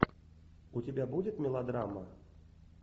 у тебя будет мелодрама